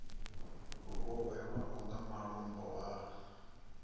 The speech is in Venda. vho hwelwaho nga malombo a